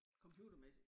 Computermæssigt